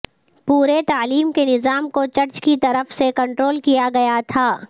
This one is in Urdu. پورے تعلیم کے نظام کو چرچ کی طرف سے کنٹرول کیا گیا تھا